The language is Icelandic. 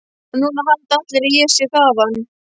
Og núna halda allir að ég sé þaðan.